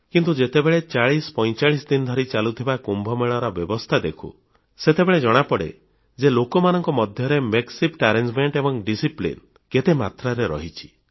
କିନ୍ତୁ ଯେତେବେଳେ 4045 ଦିନ ଧରି ଚାଲୁଥିବା କୁମ୍ଭ ମେଳାର ବ୍ୟବସ୍ଥା ଦେଖୁଁ ସେତେବେଳେ ଜଣାପଡ଼େ ଯେ ଲୋକମାନଙ୍କ ମଧ୍ୟରେ ଅସ୍ଥାୟୀ ବ୍ୟବସ୍ଥା ଏବଂ ଶୃଙ୍ଖଳା କେତେ ମାତ୍ରାରେ ରହିଛି